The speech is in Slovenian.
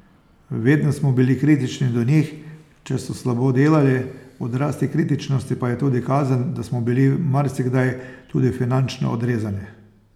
Vedno smo bili kritični do njih, če so slabo delali, odraz te kritičnosti pa je tudi kazen, da smo bili marsikdaj tudi finančno odrezani.